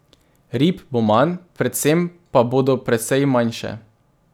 Rib bo manj, predvsem pa bodo precej manjše ...